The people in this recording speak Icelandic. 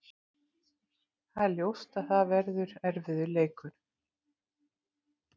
Það er ljóst að það verður erfiður leikur.